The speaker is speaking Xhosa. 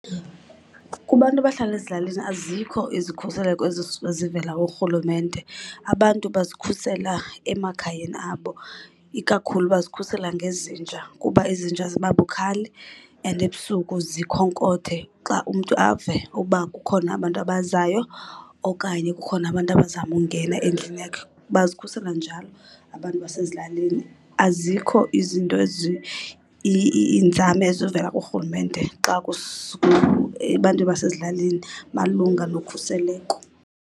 Kubantu abahlala ezilalini azikho izikhuseleko ezivela kurhulumente, abantu bazikhusela emakhayeni abo. Ikakhulu bazikhusela ngezinja kuba izinja ziba bukhali and ebusuku zikhonkothe xa, umntu ave ukuba kukhona abantu abazayo okanye kukhona abantu abazama ungena endlini yakhe. Bazikhusela njalo abantu basezilalini. Azikho izinto , iinzame ezivela kurhulumente xa , ebantwinin basezilalini malunga nokhuseleko.